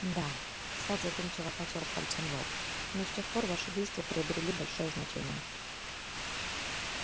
да сатт задумчиво потёр пальцем лоб но с тех пор ваши действия приобрели большое значение